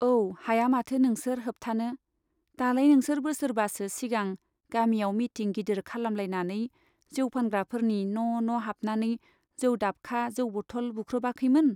औ , हाया माथो नोंसोर होबथानो , दालाय नोंसोर बोसोरबासो सिगां गामियाव मिटिं गिदिर खालामलायनानै जौ फानग्राफोरनि न' न' हाबनानै जौ दाबखा , जौ बटल बुख्रुबाखैमोन ?